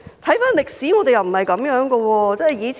回顧歷史，我們過往並非如此。